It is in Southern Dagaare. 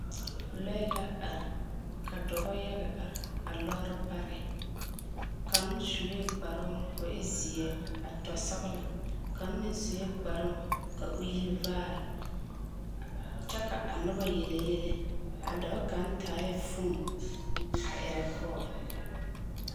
Lɔɛ la are ka dɔbɔyaga are a lɔɔre pare kaŋ sue kparoŋ ko o e zeɛ a tɔsɔglɔ ka kaŋ meŋ sue kparoŋ ka o yi vaare kyɛ ka a noba yelle yele a dɔɔ kaŋ taae foon a erɛ kɔɔl.